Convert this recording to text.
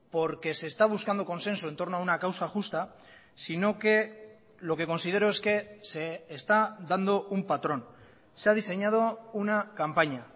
porque se está buscando consenso entorno a una causa justa sino que lo que considero es que se está dando un patrón se ha diseñado una campaña